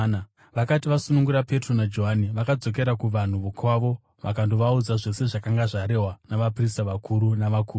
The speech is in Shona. Vakati vasunungurwa, Petro naJohani vakadzokera kuvanhu vokwavo vakandovaudza zvose zvakanga zvarehwa navaprista vakuru navakuru.